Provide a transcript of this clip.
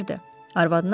O məni sevirdi.